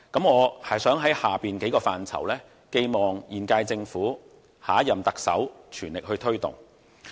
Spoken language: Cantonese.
我想就以下數個範疇寄望現屆政府、下任特首全力推動。